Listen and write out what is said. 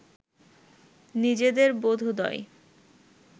নিজেদের বোধোদয়